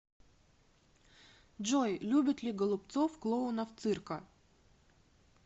джой любит ли голубцов клоунов цирка